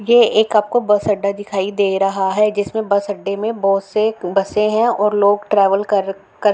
ये एक आपको बस अड्डा दिखाई दे रहा है जिसमें बस अड्डे मे बोहोत से बसे हैं और लोग ट्रेवल कर कर --